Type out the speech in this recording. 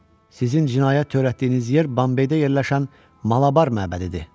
Sizin cinayət törətdiyiniz yer Bambeydə yerləşən Malabar məbədidir.